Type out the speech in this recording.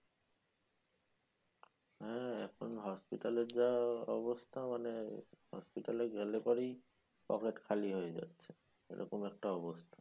হা এখন hospital এ যা অবস্থা মানে hospital এ গেলে পরেই পকেট খালি হয়ে যাচ্ছে । এ রকম একটা অবস্থা